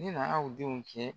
N'i nana u denw tiɲɛ